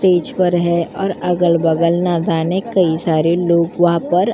stage पर है और अगल-बगल नादाने कई सारे लोग वहाँ पर --